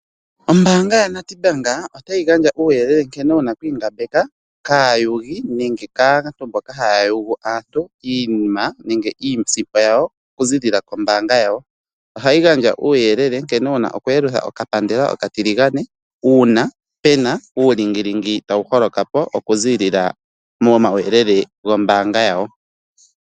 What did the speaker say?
Ombaanga yoNedbank otayi gandja uuyelele nkene wuna okwiingambeka kaayugi nenge kwaamboka haya yugu aantu iisimpo yawo kuziilila kombaanga yawo. Ohayi gandja uuyelele nkene wuna oku yelutha okapandela okatiligane uuna puna uulingilingi tawu holoka po oku ziilila momauyelele gombaanga yawo.